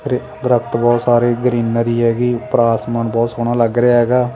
ਦਰਖਤ ਬਹੁਤ ਸਾਰੇ ਗਰੀਨਰੀ ਹੈਗੀ। ਉੱਪਰ ਆਸਮਾਨ ਬਹੁਤ ਸੋਹਣਾ ਲੱਗ ਰਿਹਾ ਹੈਗਾ।